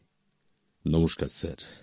doctor নমস্কার sir